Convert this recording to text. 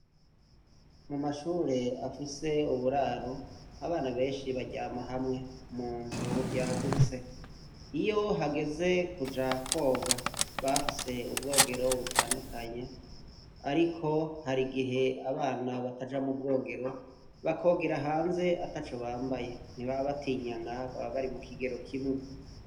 Mumashure afise uburaro abana benshi baryama hamwe munzu yagutse iyohageze kuja koga baba bafise ubwogero butandukanye ariko harigihe abana bataja mubwigero bakaja hanze ataco bambaye ntibaba batinyana bababari mukigero kimwe